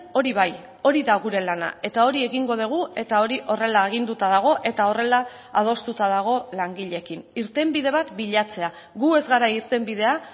hori bai hori da gure lana eta hori egingo dugu eta hori horrela aginduta dago eta horrela adostuta dago langileekin irtenbide bat bilatzea gu ez gara irtenbidea